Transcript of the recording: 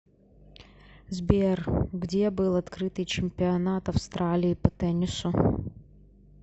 сбер где был открытый чемпионат австралии по теннису